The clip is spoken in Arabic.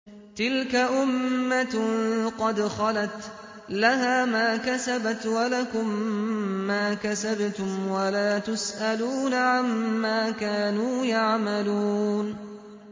تِلْكَ أُمَّةٌ قَدْ خَلَتْ ۖ لَهَا مَا كَسَبَتْ وَلَكُم مَّا كَسَبْتُمْ ۖ وَلَا تُسْأَلُونَ عَمَّا كَانُوا يَعْمَلُونَ